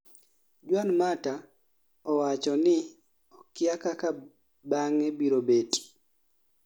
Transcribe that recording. juan mata, owacho ni okia kaka bang'e biro bet